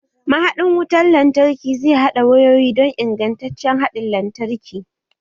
Ma haɗin wutar lantarki zai haɗa wayoyi don ingantaccen haɗin lantarki